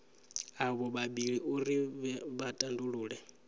avho vhavhili uri vha tandulule